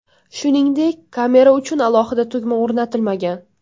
Shuningdek, kamera uchun alohida tugma o‘rnatilmagan.